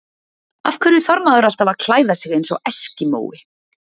Af hverju þarf maður alltaf að klæða sig eins og eskimói?